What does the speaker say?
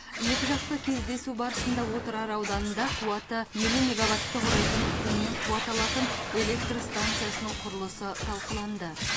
екіжақты кездесу барысында отырар ауданында қуаты елу мегаватты құрайтын күннен қуат алатын электр стансасының құрылысы талқыланды